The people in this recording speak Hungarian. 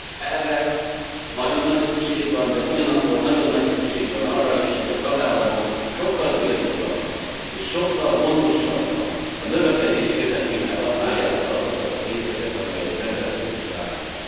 Erre nagyon nagy szükség van, de ugyanakkor nagyon nagy szükség van arra is, hogy tagállamok sokkal célzottabban és sokkal gondosabban, a növekedés érdekében használják fel azokat a pénzeket, amelyek rendelkezésre állnak.